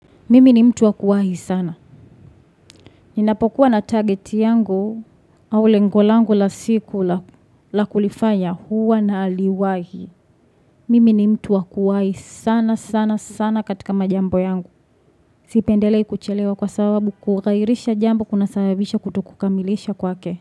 Mimi ni mtu wakuwahi sana. Ninapokuwa na target yangu au lengo langu la siku la kulifanya huwa na liwahi. Mimi ni mtu wakuwahi sana sana sana katika majambo yangu. Sipendelei kuchelewa kwa sababu kughairisha jambo kuna sababisha kutokukamilisha kwake.